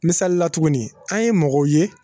Misalila tuguni an ye mɔgɔw ye